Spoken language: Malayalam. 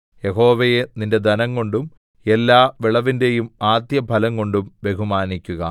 യഹോവയെ നിന്റെ ധനംകൊണ്ടും എല്ലാ വിളവിന്റെയും ആദ്യഫലംകൊണ്ടും ബഹുമാനിക്കുക